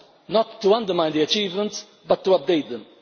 Not to undermine the achievements, but to update them?